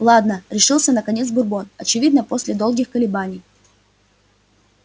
ладно решился наконец бурбон очевидно после долгих колебаний